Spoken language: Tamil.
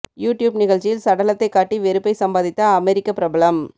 யு டியூப் நிகழ்ச்சியில் சடலத்தைக் காட்டி வெறுப்பை சம்பாதித்த அமெரிக்க பிரபலம்